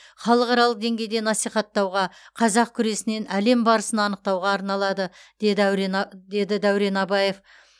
халықаралық деңгейде насихаттауға қазақ күресінен әлем барысын анықтауға арналады деді дәурен абаев